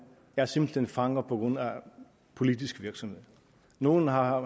er simpelt hen fanger på grund af politisk virksomhed nogle har